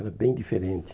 Era bem diferente.